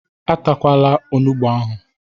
E takwala onugbu ahụ!